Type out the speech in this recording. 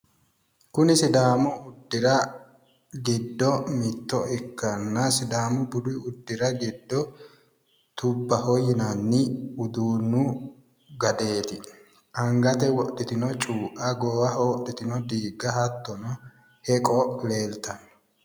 kuni sidaamu dira giddo mitto ikkanna sidaamu budu uddira giddo tubbaho yinanni uduunnu gadeeti angate wodhitino cuu"a goowaho wodhitino diigga hattono heqo leeltanno